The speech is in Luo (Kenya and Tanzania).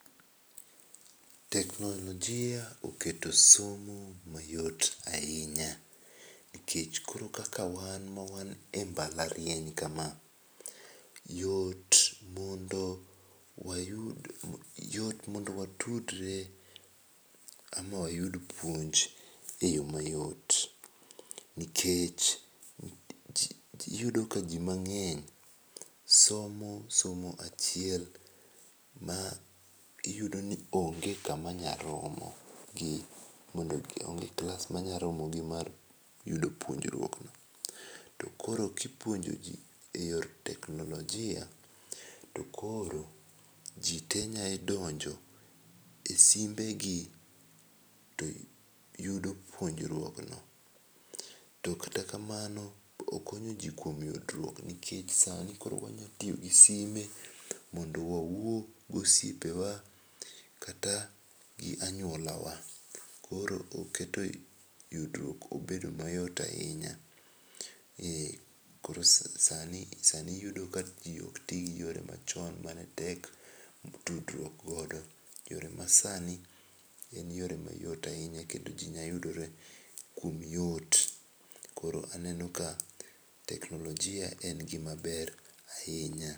Teknolojia oketo somo mayot ahinya nikech koro kata wan ma wan e mbalariany ka ma yot mondo wayud yot mondo watudre ama wayud puonj e yo mayot nikech iyudo ka ji mang'eny somo somo achiel ma iyudo ni onge ka ma nyalo romo gi mondo onge klas ma nya romo gi mar yudo puonjruok no.To koro ki ipuonjo ji e yor teknolojia, to koro ji te nya donjo e simbe gi to yudo puonjruok no ,to kata kamano okonyo ji kuom yudruok nikech sani wanya tiyo gi simbe mondo wawuo gi osiepewa kata gi anyuola wa, koro oketo yudruok obedo mayot ahinya . Koro sani iyudo ka ji ok ti gi yore machon ma ne tek tudruok godo to yo ma sani en yo mayot ahinya kendo ji yudore kuom yot koro aneno ka teknolojia en gi ma ber ahinya.